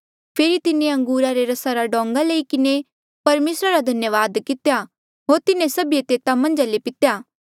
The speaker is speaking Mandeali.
फेरी तिन्हें अंगूरा रे रसा रा डोंगा लई किन्हें परमेसरा रा धन्यावाद कितेया होर तिन्हा जो दितेया होर तिन्हें सभिऐ तेता मन्झा ले पितेया